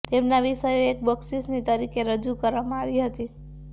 તેમના વિષયો એક બક્ષિસની તરીકે રજૂ કરવામાં આવી હતી